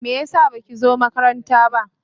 Me yasa baki zo makaranta ba?